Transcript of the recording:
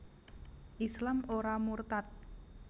Islam ora murtad